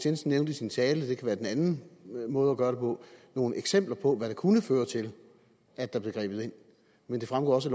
jensen nævnte i sin tale det kan være den anden måde at gøre det på nogle eksempler på hvad der kunne føre til at der blev grebet ind men det fremgår også